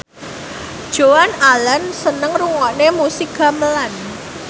Joan Allen seneng ngrungokne musik gamelan